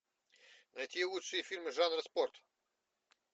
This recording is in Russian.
найти лучшие фильмы жанра спорт